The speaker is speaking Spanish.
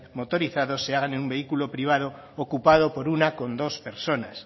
motorizados se hagan en un vehículo privado ocupado por uno coma dos personas